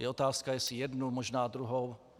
Je otázka, jestli jednu, možná druhou.